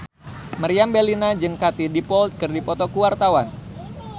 Meriam Bellina jeung Katie Dippold keur dipoto ku wartawan